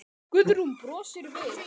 Guðrún brosir við.